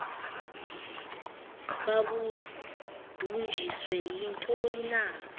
babudunjiswe yintoni na